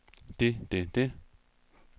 det det det